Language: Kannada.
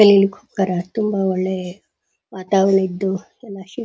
ಎಲ್ಲ ಇಲ್ಲಿಗ್ ಹೋಗ್ತಾರಾ ತುಂಬಾ ಒಳ್ಳೆ ವಾತಾವರಣ ಇದ್ದು ಎಲ್ಲ -